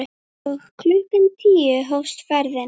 Og klukkan tíu hófst ferðin.